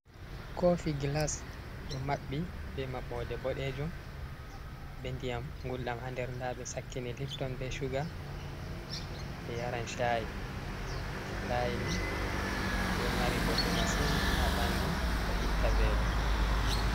Koofi gilas, ɗo maɓɓi be maɓɓoode boɗeejum, be ndiyam gulɗam haa nder. Ndaa ɓe sakkini lifton, be cuga, ɓe yaran caa'i, caa'i ni ɗo mari bote masin, haa ɓanndu, ɗo itta veelo.